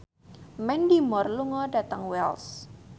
Mandy Moore lunga dhateng Wells